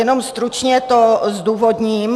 Jenom stručně to zdůvodním.